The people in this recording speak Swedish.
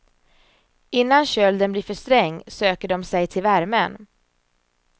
Innan kölden blir för sträng söker de sig till värmen.